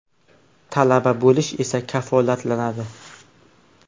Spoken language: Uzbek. Talaba bo‘lish esa kafolatlanadi.